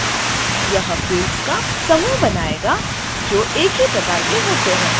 यह fields का समूह बनायेगा जो एक ही प्रकार के होते हैं